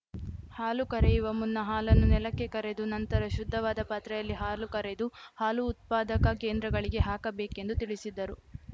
ಹಾಲು ಕರೆಯುವ ಮುನ್ನ ಹಾಲನ್ನು ನೆಲಕ್ಕೆ ಕರೆದು ನಂತರ ಶುದ್ಧವಾದ ಪಾತ್ರೆಯಲ್ಲಿ ಹಾಲು ಕರೆದು ಹಾಲು ಉತ್ಪಾದಕ ಕೇಂದ್ರಗಳಿಗೆ ಹಾಕಬೇಕೆಂದು ತಿಳಿಸಿದರು